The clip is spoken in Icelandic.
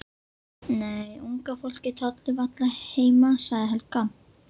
Nei, unga fólkið tollir varla heima sagði Helga.